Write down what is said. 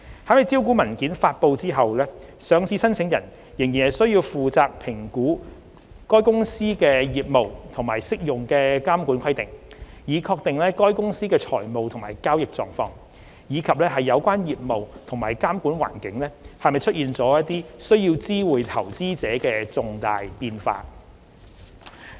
在招股文件發布後，上市申請人仍需負責評估該公司的業務和適用的監管規定，以確定該公司的財務及交易狀況，以及有關業務或監管環境是否出現需知會投資者的重大變化。